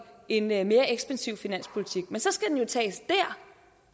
en en mere ekspansiv finanspolitik men så skal den jo tages